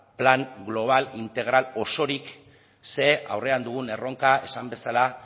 plan global integral osorik ze aurrean dugun erronka esan bezala